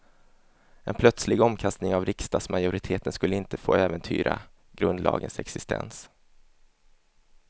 En plötslig omkastning av riksdagsmajoriteten skulle inte få äventyra grundlagens existens.